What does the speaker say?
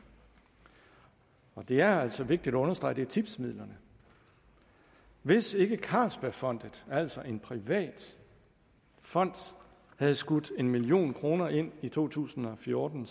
det er altså vigtigt at understrege at det er tipsmidlerne hvis ikke carlsbergfondet altså en privat fond havde skudt en million kroner ind i to tusind og fjorten